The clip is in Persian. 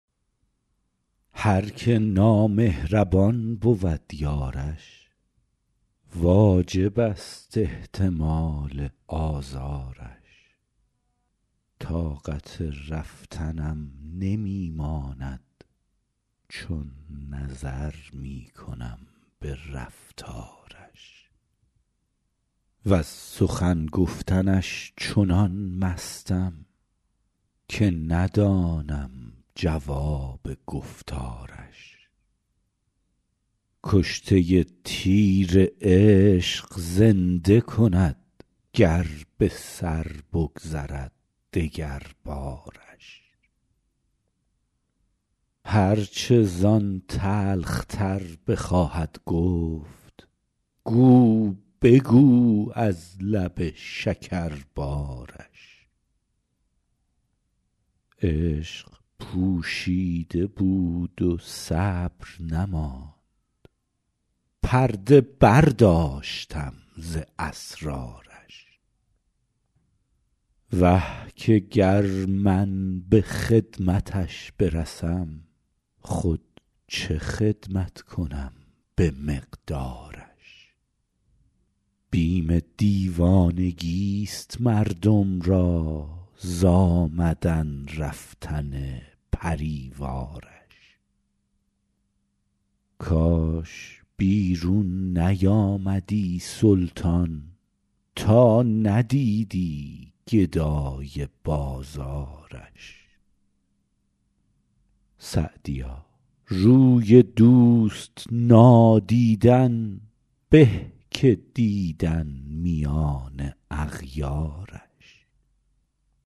هر که نامهربان بود یارش واجب است احتمال آزارش طاقت رفتنم نمی ماند چون نظر می کنم به رفتارش وز سخن گفتنش چنان مستم که ندانم جواب گفتارش کشته تیر عشق زنده کند گر به سر بگذرد دگربارش هر چه زان تلخ تر بخواهد گفت گو بگو از لب شکربارش عشق پوشیده بود و صبر نماند پرده برداشتم ز اسرارش وه که گر من به خدمتش برسم خود چه خدمت کنم به مقدارش بیم دیوانگیست مردم را ز آمدن رفتن پری وارش کاش بیرون نیامدی سلطان تا ندیدی گدای بازارش سعدیا روی دوست نادیدن به که دیدن میان اغیارش